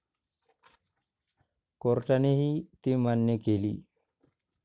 कोर्टानेही ती मान्य केली.